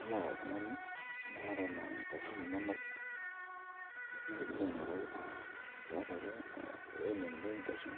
Ilo oltung'ani ning'oru naa ngoshen inonok ashu pilo aing'oru naa teatua ake eweji nemireki ngoshen,